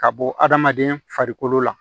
Ka bɔ adamaden farikolo la